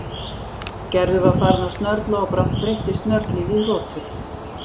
Gerður var farin að snörla og brátt breyttist snörlið í hrotur.